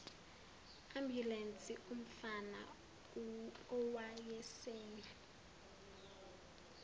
ambulensi umfana owayesemi